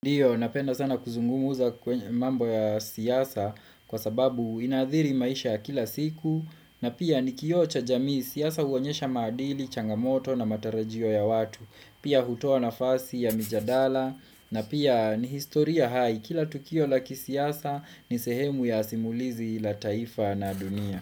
Ndio, napenda sana kuzungumuza mambo ya siasa kwa sababu inaadhiri maisha ya kila siku na pia ni kio cha jamii siasa uonyesha maadili, changamoto na matarajio ya watu pia hutoa nafasi ya mijadala na pia ni historia hai kila tukio la kisiasa ni sehemu ya simulizi la taifa na dunia.